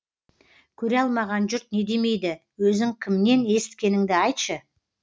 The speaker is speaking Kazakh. көре алмаған жұрт не демейді өзің кімнен есіткеніңді айтшы